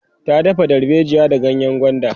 ta dafa dalbejiya da ganyengwanda